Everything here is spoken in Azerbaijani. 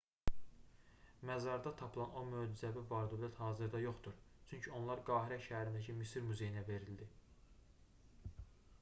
məzarda tapılan o möcüzəvi var-dövlət hazırda yoxdur çünki onlar qahirə şəhərindəki misir muzeyinə verildi